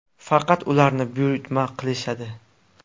Faqat ularni buyurtma qilishadi.